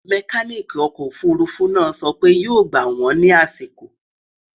mecanic ọkọ òfurufú náà so pé yó gbà wón ní àsìkò